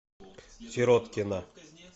сироткина